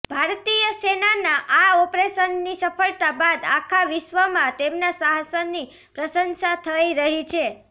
ભારતીય સેનાના આ ઑપરેશનની સફળતા બાદ આખા વિશ્વમાં તેમના સાહસની પ્રશંસા થઇ રહી છે